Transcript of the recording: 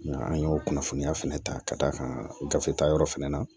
Nga an y'o kunnafoniya fɛnɛ ta ka d'a kan gafe ta yɔrɔ fɛnɛ na